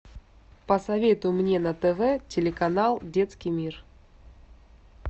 посоветуй мне на тв телеканал детский мир